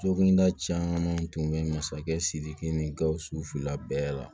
Sokɔnda caman tun bɛ masakɛ sidiki ni gawusu fila bɛɛ la